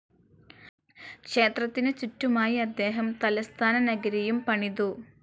ക്ഷേത്രത്തിനു ചുറ്റുമായി അദ്ദേഹം തലസ്ഥാനനഗരിയും പണിതു.